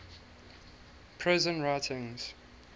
prison writings